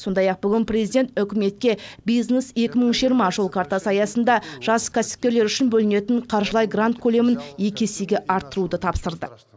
сондай ақ бүгін перзидент үкіметке бизнес екі мың жиырма жол картасы аясында жас кәсіпкерлер үшін бөлінетін қаржылай грант көлемін екі есеге арттыруды тапсырды